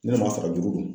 N'an b'a fara juru don